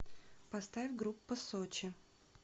поставь группа сочи